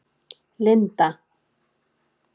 Linda